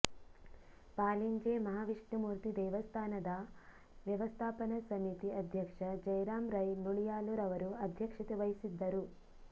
ಪಾಲಿಂಜೆ ಮಹಾವಿಷ್ಣುಮೂರ್ತಿ ದೇವಸ್ಥಾನದ ವ್ಯವಸ್ಥಾಪನಾ ಸಮಿತಿ ಅಧ್ಯಕ್ಷ ಜಯರಾಮ ರೈ ನುಳಿಯಾಲುರವರು ಅಧ್ಯಕ್ಷತೆ ವಹಿಸಿದ್ದರು